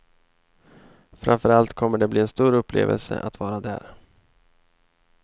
Framför allt kommer det bli en stor upplevelse att vara där.